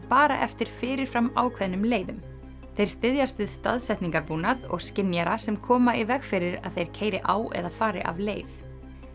bara eftir fyrir fram ákveðnum leiðum þeir styðjast við og skynjara sem koma í veg fyrir að þeir keyri á eða fari af leið